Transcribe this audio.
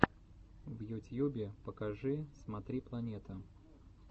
в ютьюбе покажи смотри планета